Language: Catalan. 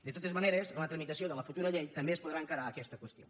de totes maneres en la tramitació de la futura llei també es podrà encarar aquesta qüestió